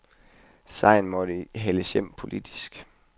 Sejren måtte hales hjem politisk.